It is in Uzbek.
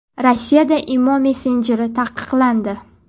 Rossiyada Imo messenjeri taqiqlandi.